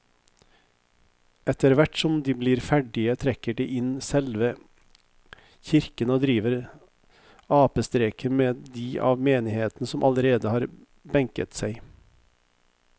Etterthvert som de blir ferdige trekker de inn i selve kirken og driver apestreker med de av menigheten som allerede har benket seg.